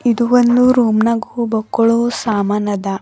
ಇದು ಒಂದು ರೂಮ್ನಗೂ ಬಕ್ಕೊಳೋ ಸಾಮಾನ್ ಅದ.